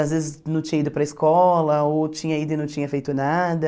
Às vezes não tinha ido para a escola, ou tinha ido e não tinha feito nada.